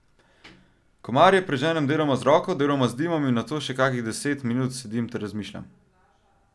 Komarje preženem deloma z roko, deloma z dimom in nato še kakih deset minut sedim ter razmišljam.